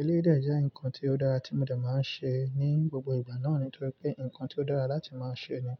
Eleyii dè jẹ́ ǹnkan tí ó dára tí mo dẹ̀ máa ń ṣe ní gbogbo ìgbà náà nítorí pé nǹkan tí ó dára láti máa ṣe ni.